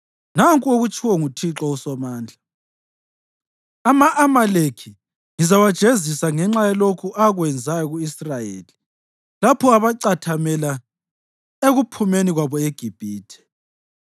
Nanku okutshiwo nguThixo uSomandla: ‘Ama-Amaleki ngizawajezisa ngenxa yalokhu akwenzayo ku-Israyeli lapho abacathamela ekuphumeni kwabo eGibhithe.